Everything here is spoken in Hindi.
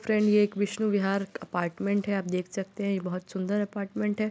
फ्रेंड ये एक विष्णु विहार अपार्टमेंट है। आप देख सकते हैं ये बहोत सुंदर अपार्टमेंट है।